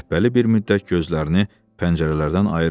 Şəbbəli bir müddət gözlərini pəncərələrdən ayırmadı.